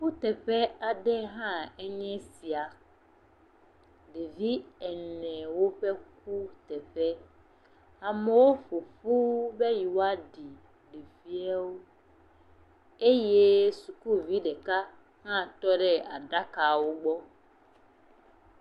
Kuteƒe hã aɖe nyee sia. Ɖevi enewo ƒe kuteƒe. amewo ƒoƒu be yewoa ɖi ɖeviawo eye detugbivi ɖeka hã tɔ ɖe aɖakawo gbɔ.